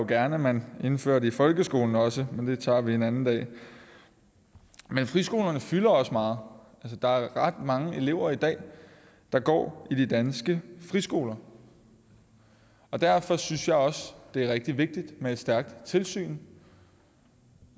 gerne at man indførte i folkeskolen også men det tager vi en anden dag men friskolerne fylder også meget der er ret mange elever i dag der går i de danske friskoler og derfor synes jeg også det er rigtig vigtigt med et stærkt tilsyn